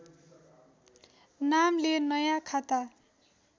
नामले नयाँ खाता